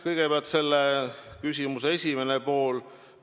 Kõigepealt küsimuse esimene pool.